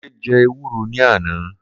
Kunle jẹ́ ewúro ní àná